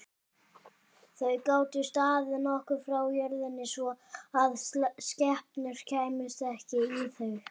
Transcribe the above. Þau gátu staðið nokkuð frá jörð svo að skepnur kæmust ekki í þau.